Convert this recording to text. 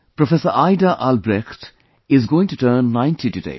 Professor Aida Albrecht is going to turn 90 today